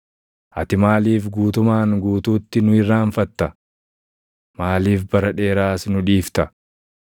Ati maaliif guutumaan guutuutti nu irraanfatta? Maaliif bara dheeraas nu dhiifta?